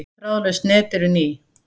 Öll þráðlaus net eru ný.